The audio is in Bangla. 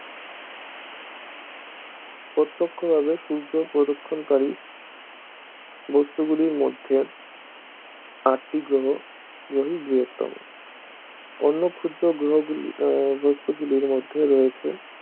প্রত্যক্ষভাবে সূর্য-প্রদক্ষিণকারী বস্তুগুলির মধ্যে আটটি গ্রহ গ্রহই বৃহত্তম অন্য ক্ষুদ্র গ্রহ গুলি ও বস্তুগুলির মধ্যে রয়েছে